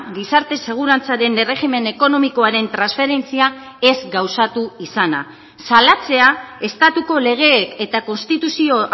gizarte segurantzaren erregimen ekonomikoaren transferentzia ez gauzatu izana salatzea estatuko legeek eta konstituzio